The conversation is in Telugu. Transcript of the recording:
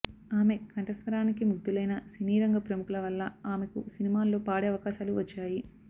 ఆమె కంఠస్వరానికి ముగ్ధులైన సినీరంగ ప్రముఖుల వల్ల ఆమెకు సినిమాల్లో పాడే అవకాశాలు వచ్చాయి